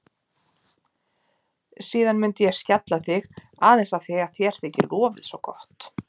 Síðan myndi ég skjalla þig aðeins af því að þér þykir lofið svo gott.